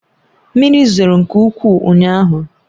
Mmiri zoro nke ukwuu ụnyaahụ